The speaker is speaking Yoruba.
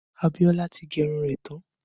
Abiola tí gẹ irun tán